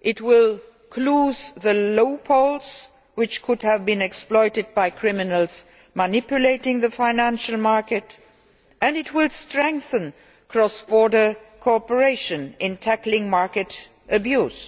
it will close the loopholes which could have been exploited by criminals manipulating the financial market and it will strengthen cross border cooperation in tackling market abuse.